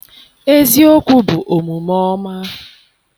eziokwu bụ omume ọma.